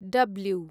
W